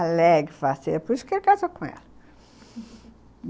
Alegre, faceira, por isso que ele casou com ela.